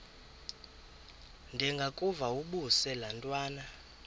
ndengakuvaubuse laa ntwana